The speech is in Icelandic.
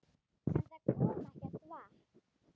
En það kom ekkert vatn.